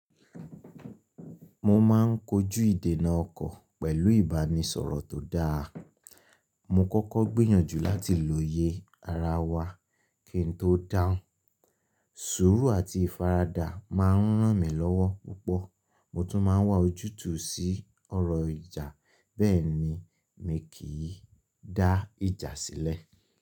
Mo máa ń kojú ìdènà ọkọ̀ pẹ̀lú ìbánisọ̀rọ̀ tó dáa. Mo kọ́kọ́ gbìyànjú láti lóye ara wa kí n tó dáhùn. Sùúrù àti ìfaradà máa ń ràn mí lọ́wọ́ púpọ̀. Mo tún máa ń wá ojútùú sí ọ̀rọ̀ ìjà, bẹ́ẹ̀ ni mi kì í dá ìjà sílẹ̀.